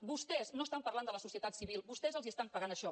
vostès no estan parlant de la societat civil vostès els estan pagant això